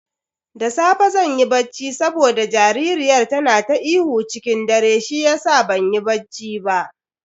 Da safe zan yi bacci saboda jaririyar tana ta ihu ciki dare shiyasa banyi banci ba.